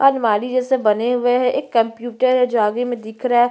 अलमारी जैसे बने हुए है एक कंप्यूटर है जो आगे में दिख रहा है।